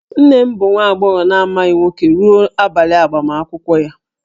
Nne m bụ nwa agbọghọ na-amaghị nwoke ruo abalị agbamakwụkwọ ya